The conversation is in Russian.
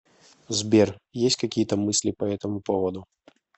сбер есть какие то мысли по этому поводу